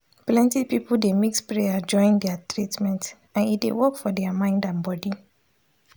plenty people dey mix prayer join their treatment and e dey work for their mind and body.